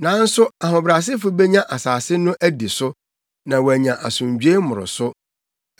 Nanso ahobrɛasefo benya asase no adi so na wɔanya asomdwoe mmoroso.